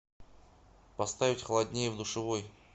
поставить холоднее в душевой